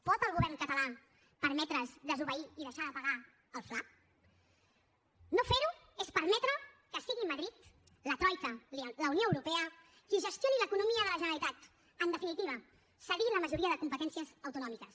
pot el govern català permetre’s desobeir i deixar de pagar el fla no fer ho és permetre que siguin madrid la troica la unió europea els qui gestionin l’economia de la generalitat en definitiva cedir la majoria de competències autonòmiques